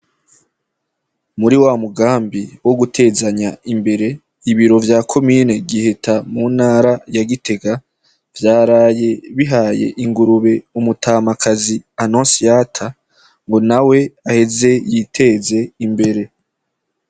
Muri wa mugambi wo gutezanya imbere, ibiro vyo mu ntra ya gitega vyaraye bihaye ingurube umutamakazi annociata ngo nawe aheze yiteze imbere.